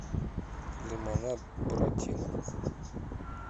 лимонад буратино